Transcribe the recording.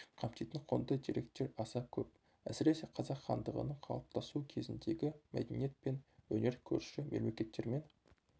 қамтитын құнды деректер аса көп әсіресе қазақ хандығының қалыптасуы кезіндегі мәдениет пен өнер көрші мемлекеттермен